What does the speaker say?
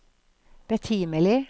betimelig